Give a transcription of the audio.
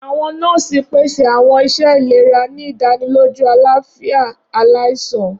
Awọn nọọsi pese awọn iṣẹ ilera, ni idaniloju alafia alaisan.